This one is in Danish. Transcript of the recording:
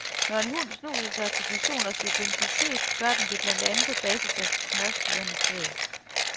Når en hund snuser sig til personers identitet, gør den det blandt andet på basis af smørsyren i sved.